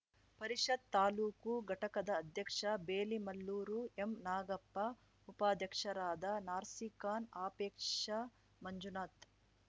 ಪರಿಷತ್‌ ತಾಲೂಕು ಘಟಕದ ಅಧ್ಯಕ್ಷ ಬೇಲಿಮಲ್ಲೂರು ಎಂ ನಾಗಪ್ಪ ಉಪಾಧ್ಯಕ್ಷರಾದ ನಾಸಿರ್‌ ಖಾನ್‌ ಅಪೇಕ್ಷಾ ಮಂಜುನಾಥ್‌